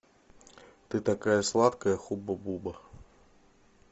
ты такая сладкая хуба буба